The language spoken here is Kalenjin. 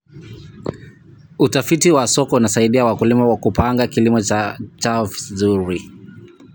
Utafiti wa soko unasaidia wakulima kupanga kilimo chao vizuri.